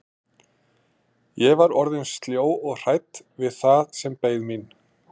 Ég var orðin sljó og hrædd við það sem beið mín.